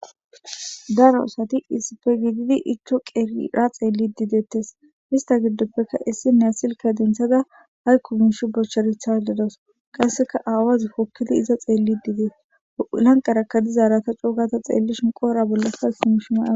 Daro aosati isipe gididi iccho qerira xeelli dideettes hista giddoppeka issinne asilka denthada hay ku miishi bosherethaledos qasseka aawazi pokkili iza xeelli diidees lanqarakadizaarata coogata xeellishin qoora bollaka simishi ma.